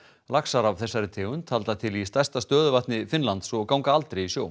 laxar af þessari tegund halda til í stærsta stöðuvatni Finnlands og ganga aldrei í sjó